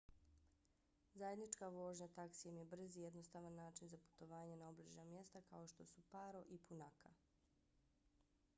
zajednička vožnja taksijem je brz i jednostavan način za putovanje na obližnja mjesta kao što su paro nu 150 i punakha nu 200